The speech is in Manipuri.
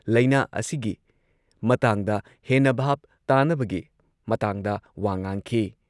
ꯂꯩꯅꯥ ꯑꯁꯤꯒꯤ ꯃꯇꯥꯡꯗ ꯍꯦꯟꯅ ꯚꯥꯕ ꯇꯥꯅꯕꯒꯤ ꯃꯇꯥꯡꯗ ꯋꯥ ꯉꯥꯡꯈꯤ ꯫